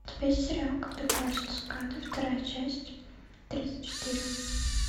у тебя есть сериал когда плачут цикады вторая часть тридцать четыре